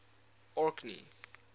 orkney